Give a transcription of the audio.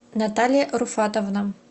наталья руфатовна